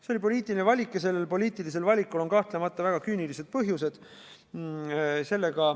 See oli poliitiline valik ja sellel poliitilisel valikul on kahtlemata väga küünilised põhjused.